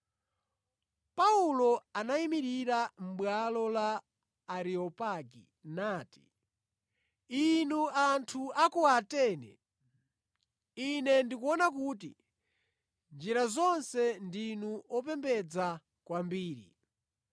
Paulo anayimirira mʼbwalo la Areopagi nati: “Inu anthu a ku Atene! Ine ndikuona kuti mʼnjira zonse ndinu opembedza kwambiri.